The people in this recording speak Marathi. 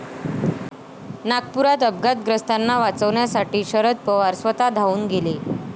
नागपुरात अपघातग्रस्तांना वाचवण्यासाठी शरद पवार स्वतः धावून गेले